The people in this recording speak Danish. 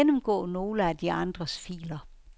Gennemgå nogle af de andres filer.